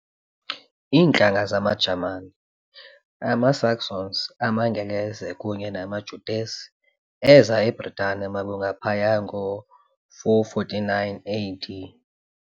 Iintlanga zamaJamani, amaSaxons, amaAngles, kunye namaJutes, eeza eBritane malunga phaya ngoo-449 AD.